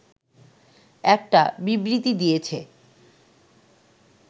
একটা বিবৃতি দিয়েছে